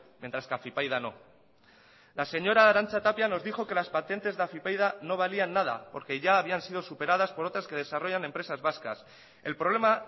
mientras que afypaida no la señora arantza tapia nos dijo que las patentes de afypaida no valían nada porque ya habían sido superadas por otras que desarrollan empresas vascas el problema